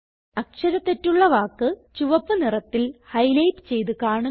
അക്ഷര തെറ്റുള്ള വാക്ക് ചുവപ്പ് നിറത്തിൽ ഹൈലൈറ്റ് ചെയ്ത് കാണുന്നു